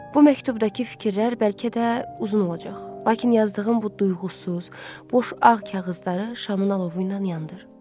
Bu məktubdakı fikirlər bəlkə də uzun olacaq, lakin yazdığım bu duyğusuz, boş ağ kağızları şamın alovu ilə yandır.